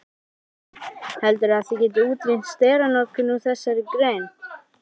Kristinn: Heldurðu að þið getið útrýmt steranotkun úr þessari grein?